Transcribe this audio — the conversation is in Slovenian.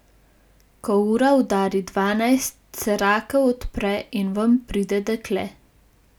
Ko ura udari dvanajst, se rakev odpre in ven pride dekle.